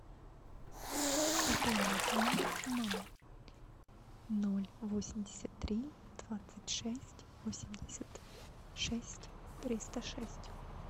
пополни номер мамы ноль восемьдесят три двадцать шесть восемьдесят шесть триста шесть